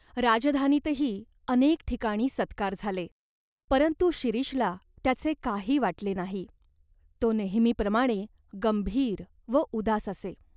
राजधानीतही अनेक ठिकाणी सत्कार झाले.परंतु शिरीषला त्याचे काही वाटले नाही. तो नेहमीप्रमाणे गंभीर व उदास असे.